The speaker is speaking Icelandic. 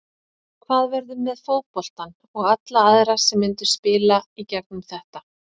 Hvað verður með fótboltann og alla aðra sem myndu spila í gegnum þetta?